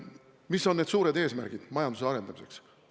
Mis on need suured eesmärgid majanduse arendamiseks?